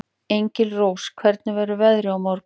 Engilrós, hvernig verður veðrið á morgun?